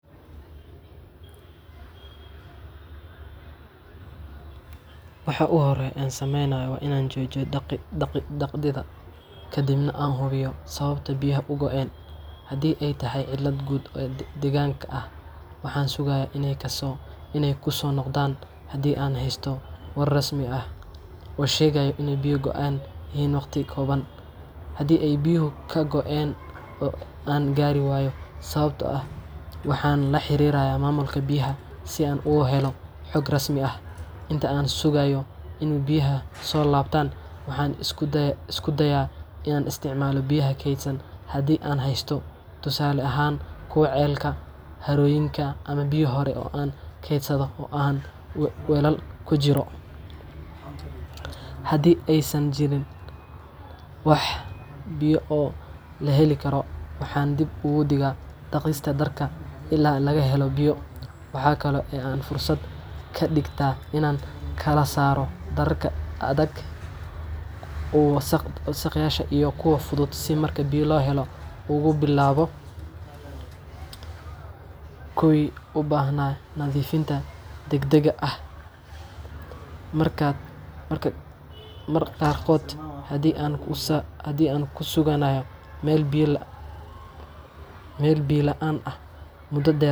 waxa ugu horreeya ee aan sameeyo waa inaan joojiyo dhaqidda, kadibna aan hubiyo sababta biyaha u go’een. Haddii ay tahay cilad guud oo deegaanka ah, waxaan sugayaa in ay kusoo noqdaan haddii aan haysto war rasmi ah oo sheegaya in biyo go’an yihiin waqti kooban. Haddii ay biyuhu ka go’een oo aan garan waayo sababta, waxaan la xiriiraa maamulka biyaha si aan uga helo xog rasmi ah. Inta aan sugayo in biyuhu soo laabtaan, waxaan isku dayaa inaan isticmaalo biyaha kaydsan haddii aan haysto, tusaale ahaan kuwa ceelka, harooyinka ama biyo hore oo aan kaydsaday oo haan ama weelal ku jira. Haddii aysan jirin wax biyo ah oo la heli karo, waxaan dib u dhigaa dhaqista dharka ilaa laga helo biyo. Waxa kale oo aan fursad ka dhigtaa inaan kala saaro dharka aadka u wasakhaysan iyo kuwa fudud si marka biyo la helo aan ugu bilaabo kuwii u baahnaa nadiifinta degdegga ah mudo dher.